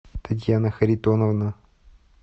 татьяна харитоновна